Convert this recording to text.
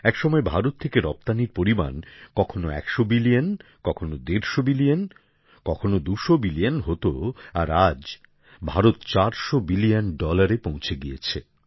এক সময় ভারত থেকে রপ্তানীর পরিমাণ কখনও একশো বিলিয়ন কখনও দেড়শো বিলিয়ন কখনও দুশো বিলিয়ন হত আর আজ ভারত চারশো বিলিয়ন ডলারে পৌঁছে গিয়েছে